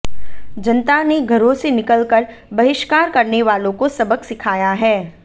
जनता ने घरों से निकल कर बहिष्कार करने वालों को सबक सिखाया है